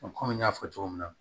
kɔmi n y'a fɔ cogo min na